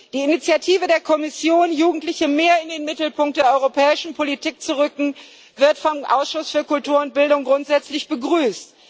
Die Initiative der Kommission, Jugendliche mehr in den Mittelpunkt der europäischen Politik zu rücken, wird vom Ausschuss für Kultur und Bildung grundsätzlich begrüßt.